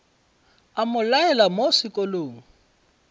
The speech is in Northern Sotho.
a mo laela mo sekolong